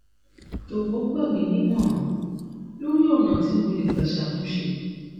jọ̀wọ́ gbà gbà mí nímọ̀ràn lórí ọ̀nà tí mo lè gbà ṣàtúnṣe